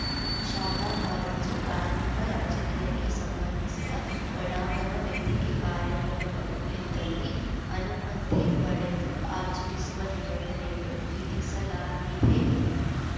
ಶಾಲಾ ಕಾಲೇಜು ಧಾರ್ಮಿಕ ರಾಜಕೀಯಕ್ಕೆ ಸಂಬಂಧಿಸಿದ ಒಳಾಂಗಣ ವೇದಿಕೆ ಕಾರ್ಯಕ್ರಮಗಳಿದ್ದಲ್ಲಿ ಅನುಮತಿ ಪಡೆದು ಆಚರಿಸುವ ನಿಬಂಧನೆಯನ್ನು ವಿಧಿಸಲಾಗಿದೆ ಎಂದರು